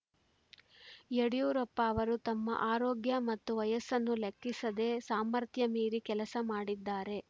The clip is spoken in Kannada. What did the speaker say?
ಯಡಿಯೂರಪ್ಪ ಅವರು ತಮ್ಮ ಆರೋಗ್ಯ ಮತ್ತು ವಯಸ್ಸನ್ನೂ ಲೆಕ್ಕಿಸದೆ ಸಾಮರ್ಥ್ಯ ಮೀರಿ ಕೆಲಸ ಮಾಡಿದ್ದಾರೆ